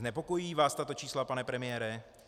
Znepokojují vás tato čísla, pane premiére?